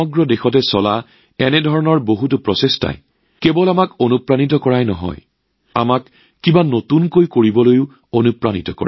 দেশজুৰি চলি থকা এনে বহু প্ৰচেষ্টাই আমাক অনুপ্ৰাণিত কৰাই নহয় নতুন কিবা এটা কৰাৰ ইচ্ছাও জগাই তোলে